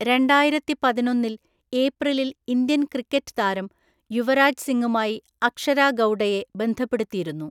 രണ്ടായിരത്തിപതിനൊന്നില്‍ ഏപ്രിലിൽ Indian cricket താരം യുവരാജ് സിംഗുമായി അക്ഷര ഗൗഡയെ ബന്ധപ്പെടുത്തിയിരുന്നു.